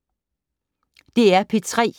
DR P3